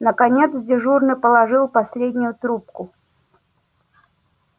наконец дежурный положил последнюю трубку